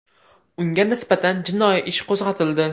Unga nisbatan jinoiy ish qo‘zg‘atildi.